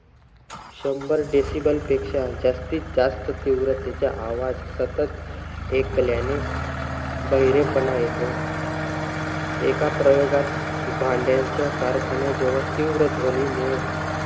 शंभर decible पेक्षा जास्ती, जास्त तीव्रतेचा आवाज सत ऐकल्याने बहिरेपणा येतो. एका प्रयोगात भांड्यांच्या कारखान्याजवळ तीव्र ध्वनीमुळे,